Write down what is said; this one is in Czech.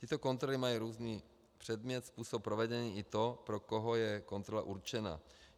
Tyto kontroly mají různý předmět, způsob provedení i to, pro koho je kontrola určena.